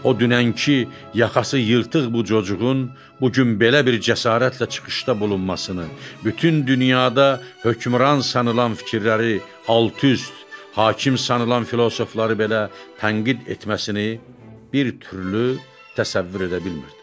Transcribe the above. O dünənki yaxası yırtıq bu çocuqun bu gün belə bir cəsarətlə çıxışda bulunmasını, bütün dünyada hökmran sanılan fikirləri alt-üst, hakim sanılan filosofları belə tənqid etməsini bir türlü təsəvvür edə bilmirdi.